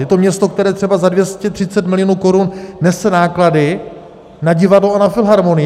Je to město, které třeba za 230 milionů korun nese náklady na divadlo a na filharmonii.